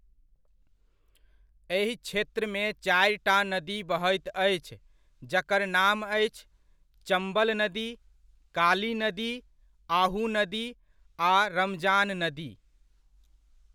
एहि क्षेत्रमे चारिटा नदी बहैत अछि, जकर नाम अछि, चम्बल नदी, काली नदी, आहू नदी आ रमजान नदी।